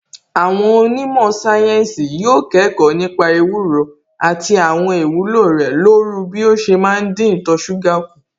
Àwọn onímọ̀ sáyẹ́ǹsì yóò kẹ́kọ̀ọ́ nípa ewúro àti àwọn ìwúlò rẹ̀ lóru bí ó ṣe má ń dín ìtọ̀ṣúgà kù